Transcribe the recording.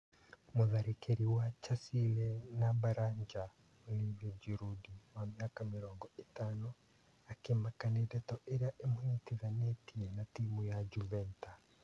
Mũtharĩkĩri wa Chasile na Baranja Oliva Ngirundi wa mĩaka mĩrongo-ĩtano " akĩmaka " na ndeto iria imũnyitithanĩtie na timu ya Juveta.